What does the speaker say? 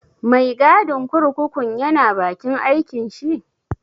Mai gadin kurkukun ya na bakin aikin shi?